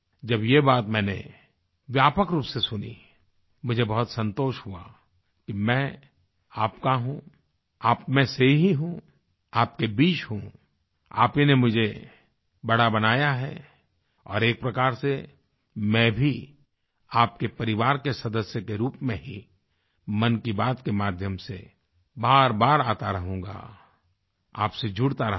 जब ये बात मैंने व्यापक रूप से सुनी मुझे बहुत संतोष हुआ कि मैं आपका हूँ आप में से ही हूँ आपके बीच हूँ आप ही ने मुझे बड़ा बनाया है और एक प्रकार से मैं भी आपके परिवार के सदस्य के रूप में ही मन की बात के माध्यम से बारबार आता रहूँगा आपसे जुड़ता रहूँगा